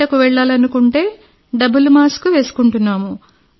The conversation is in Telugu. బయటకు వెళ్లాలనుకుంటే డబుల్ మాస్క్ వేసుకుంటున్నాం